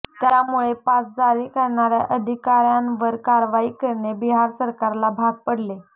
त्यामुळे पास जारी करणाऱ्या अधिकाऱ्यावर कारवाई करणे बिहार सरकारला भाग पडले